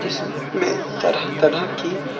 इस में तरह तरह की--